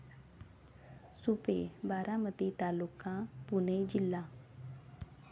सुपे, बारामती तालुका. पुणे जिल्हा